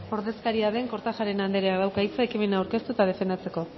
ordezkaria den kortajarena andreak dauka hitza ekimena aurkeztu eta defendatzeko